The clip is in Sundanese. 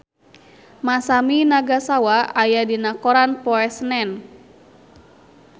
Masami Nagasawa aya dina koran poe Senen